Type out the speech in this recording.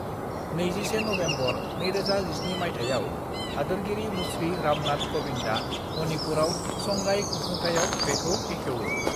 "21 November, 2017 मायथाइयाव हादोरगिरि मुश्री रामनाथ क'विंदआ मणिपुरआव संगाई खुंफुंथाइयाव बेखौ बेखेवो।"